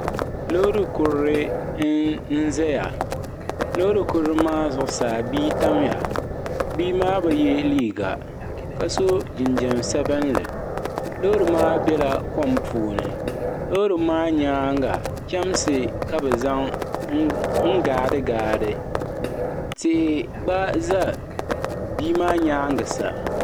Loori kurili n zaya loori kurili maa zuɣusaa bia tamya bia maa bi ye liiga ka so jinjiɛm sabinli loori maa bela kom puuni loori maa nyaanga chemsi ka bɛ zaŋ gaadi tia gba za bia maa nyaaga sa.